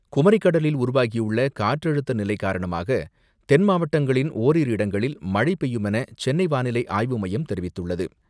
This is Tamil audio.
குமரிக் கடலில் உருவாகியுள்ள காற்றழுத்த நிலை காரணமாக தென் மாவட்டங்களின் ஓரிரு இடங்களில் மழை பெய்யுமென சென்னை வானிலை ஆய்வு மையம் தெரிவித்துள்ளது.